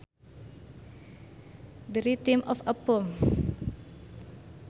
The rhythm of a poem